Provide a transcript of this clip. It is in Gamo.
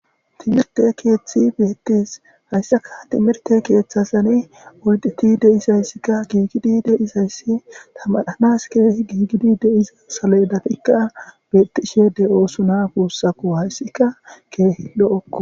Timrte kethy betes, hesaka timihrte kethazan lo'etid de'izayska akekid de'zays , tamaranas keehid gigida saledatika betishe de'osona gusako haysika keeh lo'oko.